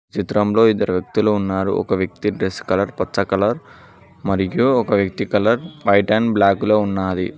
చిత్రంలో ఇద్దరు వ్యక్తులు ఉన్నారు ఒక వ్యక్తి డ్రెస్ కలర్ పచ్చ కలర్ మరియు ఒక వ్యక్తి కలర్ వైట్ అండ్ బ్లాకు లో ఉన్నాది.